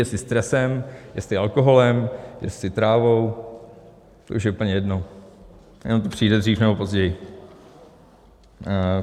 Jestli stresem, jestli alkoholem, jestli trávou, to už je úplně jedno, jenom to přijde dřív nebo později.